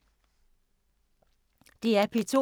DR P2